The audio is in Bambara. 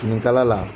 Finikala la